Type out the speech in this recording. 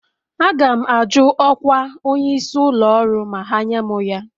Aga m ajụ ọkwa onyeisi ụlọ ọrụ ma ha nye m ya